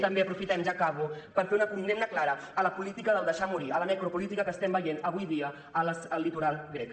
també aprofitem ja acabo per fer una condemna clara a la política del deixar morir a la necropolítica que estem veient avui dia al litoral grec